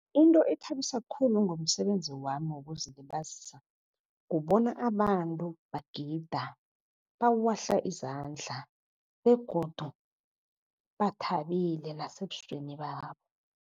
Into ethabisa khulu ngomsebenzi wami wokuzilibazisa, kubona abantu bagida, bawahla izandla begodu bathabile nasebusweni babo.